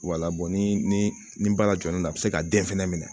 ni ni baara jɔyɔ don a bɛ se ka den fɛnɛ minɛ